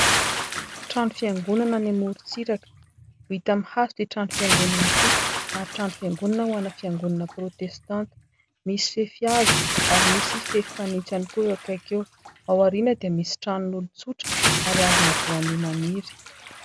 Trano fiangonana any amorontsiraka. Vita amin'ny hazo ity trano fiangonana ity ary trano fiangonana ho ana fiangonana protestanta ; misy fefy hazo ary misy fefy fanitso ihany koa eo akaiky eo. Ao aoriana dia misy tranon'olon-tsotra ary hazona voanio maniry.